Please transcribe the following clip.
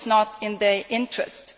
It is not in their interests.